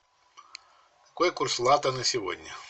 какой курс лата на сегодня